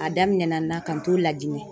A daminɛna n na ka n t'o Lajinɛ .